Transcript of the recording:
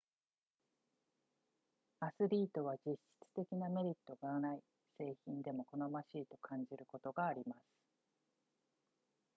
アスリートは実質的なメリットがない製品でも好ましいと感じることがあります